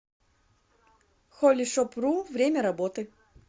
холлишопру время работы